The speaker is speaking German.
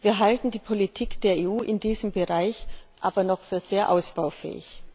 Wir halten die Politik der EU in diesem Bereich aber noch für sehr ausbaufähig.